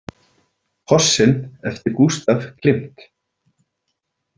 Kossinn eftir Gustav Klimt.